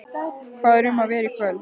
Hvað er um að vera í kvöld?